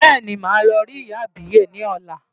Bẹ́ẹ̀ni, màá lọ rí ìyá àbíyè ni ọ̀la.